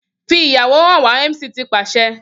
Fi iyawo han wa MC ti paṣẹ